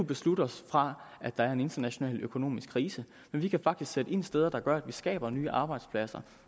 beslutte os fra at der er en international økonomisk krise men vi kan faktisk sætte ind steder der gør at vi skaber nye arbejdspladser